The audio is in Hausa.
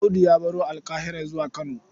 Audu ya baro Alƙahira zuwa Kano.